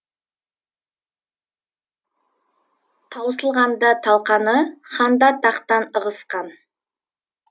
таусылғанда талқаны хан да тақтан ығысқан